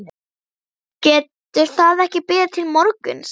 Getur það ekki beðið til morguns?